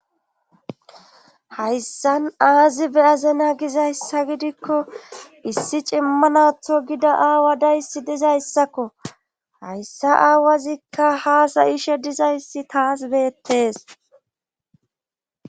hayssan aazibe azena gizayssa gidikko issi cimmanatho gida aawa dayssi dizayssakko hayssa aawazikka haasa ishe dizayssi taas beettes